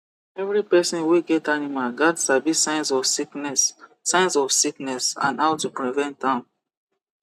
every person wey get animals gats sabi signs of sickness signs of sickness and how to prevent am